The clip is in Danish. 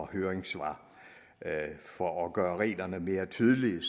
høringssvar for at gøre reglerne mere tydelige